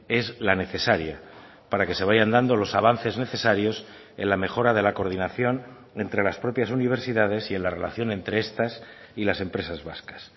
es la necesaria para que se vayan dando los avances necesarios en la mejora de la coordinación entre las propias universidades y en la relación entre estas y las empresas vascas